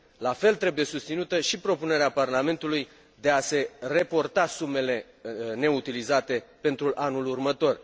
La fel trebuie susținută și propunerea Parlamentului de a se reporta sumele neutilizate pentru anul următor.